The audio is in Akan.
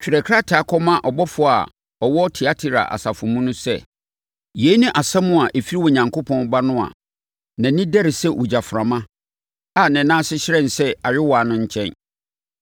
“Twerɛ krataa kɔma ɔbɔfoɔ a ɔwɔ Tiatira asafo mu sɛ: Yei ne asɛm a ɛfiri Onyankopɔn Ba no a nʼani dɛre sɛ ogyaframa a ne nan ase hyerɛn sɛ ayowaa no nkyɛn.